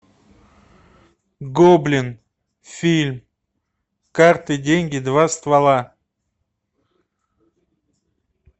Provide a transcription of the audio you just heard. гоблин фильм карты деньги два ствола